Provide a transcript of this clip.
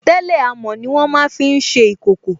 Tẹ́lẹ̀ amọ̀ ní wọ́n máa fi n ṣe ìkòkò